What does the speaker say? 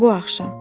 Bu axşam.